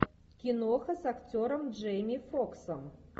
киноха с актером джейми фоксом